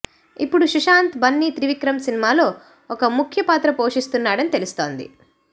ఇప్పుడు సుశాంత్ బన్నీ త్రివిక్రమ్ సినిమాలో ఒక ముఖ్య పాత్ర పోషిస్తున్నాడని తెలుస్తోంది